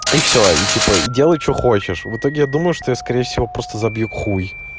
и всё и типа и делай что хочешь в итоге я думаю что я скорее всего просто забью хуй